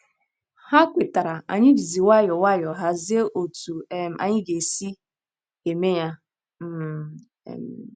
Ha kwetara, anyị jizi nwayọọ nwayọọ hazie otú um anyị ga - esi eme ya um. um